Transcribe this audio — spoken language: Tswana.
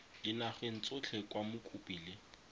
dinageng tsotlhe kwa mokopi le